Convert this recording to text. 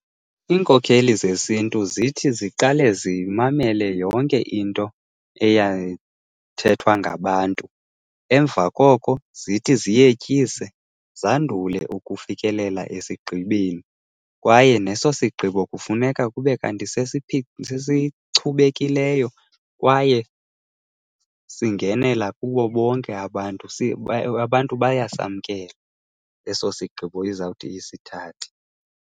Iinkokheli zesiNtu zithi ziqale zimamele yonke into eyayithethwa ngabantu, emva koko zithi ziyetyise, zandule ukufikelela esigqibeni. Kwaye neso sigqibo kufuneka kube kanti sesichubekileyo kwaye singenela kubo bonke abantu, abantu bayasamkela eso sigqibo izawuthi isithathe.